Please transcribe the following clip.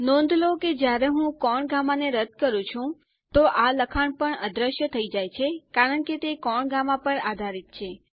નોંધ લો કે જ્યારે હું કોણ ગામા ને રદ કરું તો આ લખાણ પણ અદૃશ્ય થઈ જાય છે કારણ કે તે કોણ ગામા પર આધારિત છે